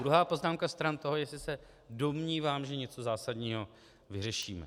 Druhá poznámka stran toho, jestli se domnívám, že něco zásadního vyřešíme.